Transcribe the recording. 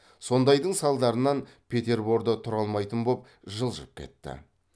сондайдың салдарынан петерборда тұра алмайтын боп жылжып кетті